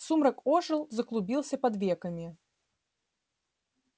сумрак ожил заклубился под веками